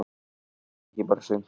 Ekki bara sumt.